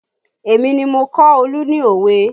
Èmi ni mo kọ́ Olu ní òwe